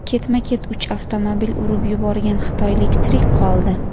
Ketma-ket uch avtomobil urib yuborgan xitoylik tirik qoldi .